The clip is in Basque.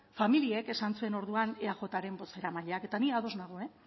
familiek esan zuen orduan eajren bozeramaileak eta ni ados nago